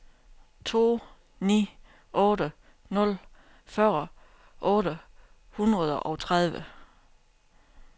to ni otte nul fyrre otte hundrede og tredive